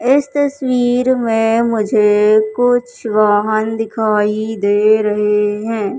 इस तस्वीर में मुझे कुछ वाहन दिखाई दे रहे हैं।